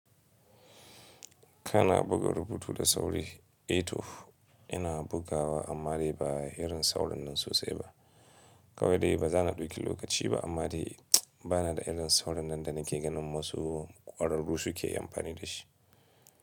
Kana buga rubutu da sauri, eto ina bugawa amma dai ba irin saurin nan sosai ba. Kawai dai ba za na ɗauki lokaci ba amma dai bana da irin saurin nan da nake ganin wasu ƙwararru suke amfani da shi.